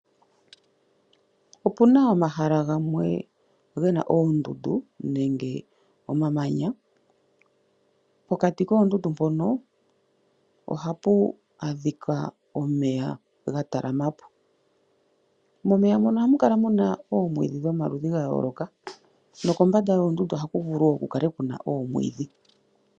Opuna omahala gamwe gena oondundu nenge omamanya, pokati koondundu mpono ohapu adhika omeya ga talama po. Momeya mono ohamu kala muna oomwiidhi dhomaludhi ga yooloka, no kombanda yoondundu ohaku vulu wo kukale kuna oomwiidhi.